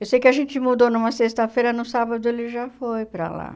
Eu sei que a gente mudou numa sexta-feira, no sábado ele já foi para lá.